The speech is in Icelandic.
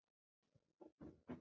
Takk litla systir.